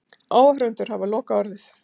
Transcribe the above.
Áhorfendur hafa lokaorðið